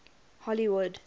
hollywood